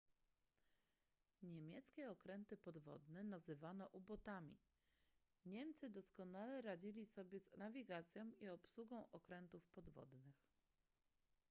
niemieckie okręty podwodne nazywano u-botami niemcy doskonale radzili sobie z nawigacją i obsługą okrętów podwodnych